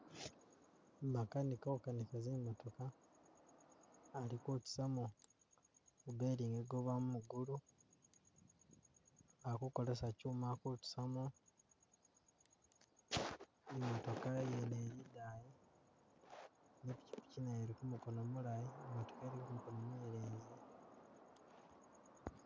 makanika ukanika zi'motooka ali kutusamo gu belingi guma mugulu, akukolesa kyuma kutusamo, imotooka yene ili idayi, nepikiki nayo ili kumukono mulayi, imotooka ili kumukono munyelenze